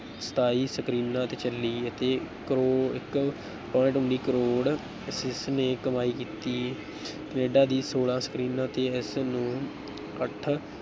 ਸਤਾਈ ਸਕਰੀਨਾਂ ਤੇ ਚੱਲੀ ਅਤੇ ਕਰੌ ਇੱਕ point ਉੱਨੀ ਕਰੌੜ ਕਮਾਈ ਕੀਤੀ, ਕੈਨੇਡਾ ਦੀ ਛੋਲਾਂ ਸਕਰੀਨਾਂ ਤੇ ਇਸਨੇ ਅੱਠ